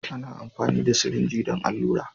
Ana amfani da sirinji don allura.